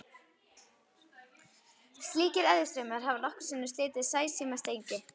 Slíkir eðjustraumar hafa nokkrum sinnum slitið sæsímastrengi.